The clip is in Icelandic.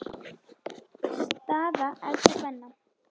Staða efstu kvenna